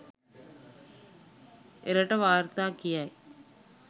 එරට වාර්තා කියයි.